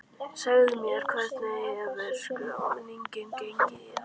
Segðu mér, hvernig hefur skráningin gengið í ár?